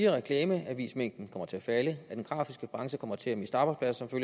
reklameavismængden kommer til at falde den grafiske branche kommer til at miste arbejdspladser som